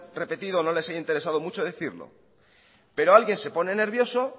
repetido o no les haya interesado mucho decirlo pero alguien se pone nervioso